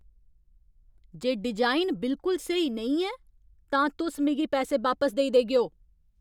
जे design बिलकुल स्हेई नेईं ऐ, तां तुस मिगी पैसे बापस देई देगेओ।